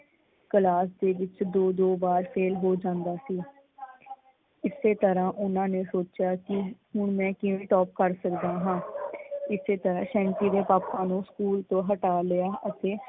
Class ਦੇ ਵਿੱਚ ਦੋ ਦੋ ਵਾਰ ਫੇਲ ਹੋ ਜਾਂਦਾ ਸੀ। ਇਸੇ ਤਰ੍ਹਾਂ ਓਹਨਾਂ ਨੇ ਸੋਚਿਆ ਕੀ ਹੁਣ ਮੈਂ ਕਿਵੇ ਟੋਪ ਕਰ ਸਕਦਾ ਹਾਂ? ਇਸੇ ਤਰ੍ਹਾਂ ਸੈਂਟੀ ਦੇ ਪਾਪਾ ਨੂੰ ਸਕੂਲ ਤੋਂ ਹਟਾ ਲਿਆ ਅਤੇ